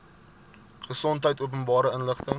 gesondheid openbare inligting